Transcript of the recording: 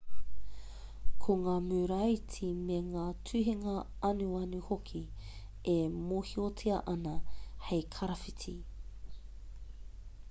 ko ngā muraiti me ngā tuhinga anuanu hoki e mōhiotia ana hei karawhiti